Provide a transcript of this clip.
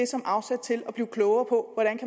som afsæt til at blive klogere på hvordan